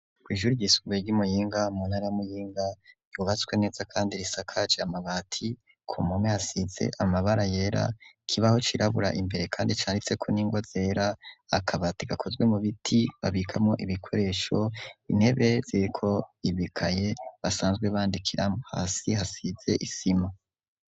Kw'ishure ryisumbuye ry'umuyinga munara muyinga, ryubatswe neza kandi risakaje amabati ku mpome hasize amabara yera, kibaho kirabura imbere kandi cyanditse ku ningwa zera, akabatigakozwe mu biti babikamo ibikoresho, intebe zeko ibikaye basanzwe bandikira mo , hasi hasize isima.